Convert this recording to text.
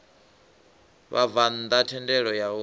vhabvann ḓa thendelo ya u